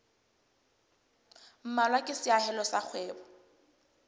mmalwa ke seahelo sa kgwebo